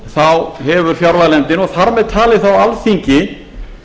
þá hefur fjárlaganefndin og þar með talið þá alþingi